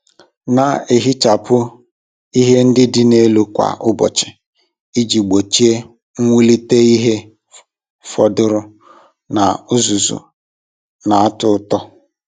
Na-ehichapụ ihe ndị dị n'elu kwa ụbọchị iji gbochie mwulite ihe fọdụrụ na uzuzu na-atọ ụtọ.